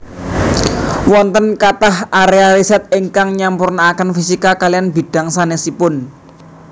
Wonten kathah aréa risèt ingkang nyampuraken fisika kaliyan bidhang sanèsipun